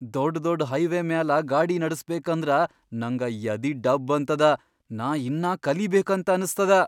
ದೊಡ್ ದೊಡ್ ಹೈವೇ ಮ್ಯಾಲ ಗಾಡಿ ನಡಸ್ಬೇಕಂದ್ರ ನಂಗ ಯದಿ ಡಬ್ ಅಂತದ, ನಾ ಇನ್ನಾ ಕಲಿಬೇಕಂತ ಅನಸ್ತದ.